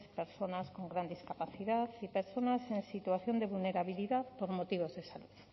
personas con gran discapacidad y personas en situación de vulnerabilidad por motivos de salud